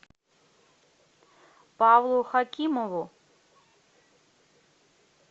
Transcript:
павлу хакимову